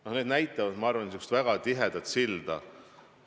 Need asjad näitavad, ma arvan, väga tugevat silda.